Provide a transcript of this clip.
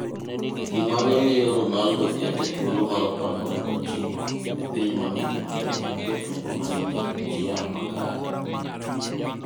Gima ne miyo Ronaldo ket e thuolo mar 49 e piny mangima e kind jotugo manigi chia makare.